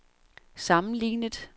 sammenlignet